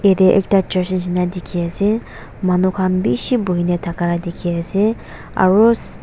yatae ekta church nishina dikhiase manu khan bishi buhina thaka la dikhiase aro seee.